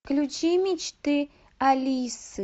включи мечты алисы